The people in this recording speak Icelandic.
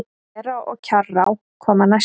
Þverá og Kjarrá koma næstar.